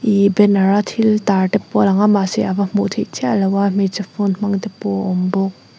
ihh banner a thil tar te pawh a langa mahse ava hmuh theih chiah loh a hmeichhe phone hmang te pawh a awm bawk.